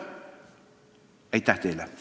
Aitäh teile!